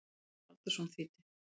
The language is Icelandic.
Ragnar Baldursson þýddi.